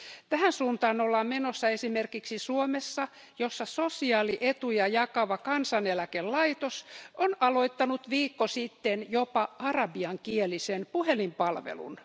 Tähän suuntaan ollaan menossa esimerkiksi Suomessa, jossa sosiaalietuja jakava Kansaneläkelaitos on aloittanut viikko sitten jopa arabiankielisen puhelinpalveluun.